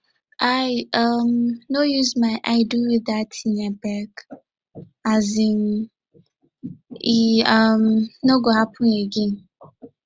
i um no use my eye do you dat tin abeg um e um no go happen again